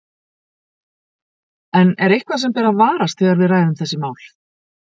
En er eitthvað sem ber að varast þegar við ræðum þessi mál?